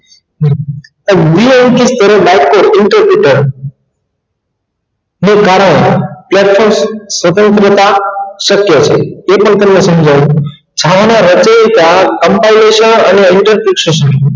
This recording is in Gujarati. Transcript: વિયનકિત કરેલ બાળકો interpreter ને કારણેત્યાં તો સ્વતંત્રતા શકય છે તે પણ તમને સમજાવું